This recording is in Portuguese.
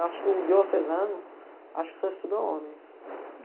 Eu acho que o diocesano, acho que só estuda homens.